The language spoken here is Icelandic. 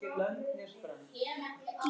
Hvað er að ykkur?